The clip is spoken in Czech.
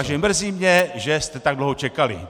Takže mrzí mě, že jste tak dlouho čekali.